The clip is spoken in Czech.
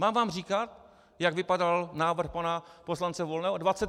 Mám vám říkat, jak vypadal návrh pana poslance Volného?